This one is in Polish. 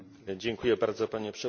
Panie Przewodniczący!